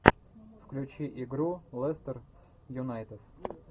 включи игру лестер с юнайтед